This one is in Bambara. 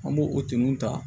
An b'o o tunun ta